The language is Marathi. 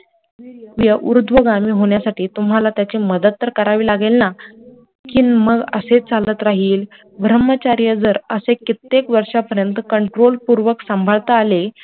वीर्य ऊर्ध्वगामी होण्यासाठी तुम्हाला त्याची मदत तर करावी लागेल ना कि मग असेच चालत राहील ब्रम्हचर्य जर असे कित्येक वर्षापर्यंत control पूर्वक सांभाळता आले,